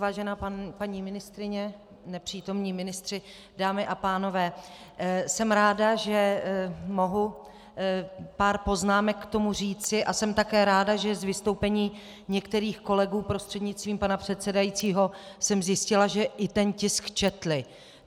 Vážená paní ministryně, nepřítomní ministři , dámy a pánové, jsem ráda, že mohu pár poznámek k tomu říci, a jsem také ráda, že z vystoupení některých kolegů prostřednictvím pana předsedajícího jsem zjistila, že i ten tisk četli.